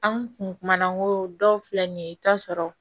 An kun kumana n ko dɔw filɛ nin ye i bi taa sɔrɔ